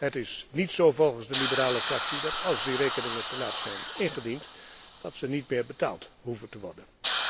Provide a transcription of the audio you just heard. Het is niet zo volgens de ALDE Fractie dat als die rekeningen te laat zijn ingediend, deze niet meer betaald hoeven te worden.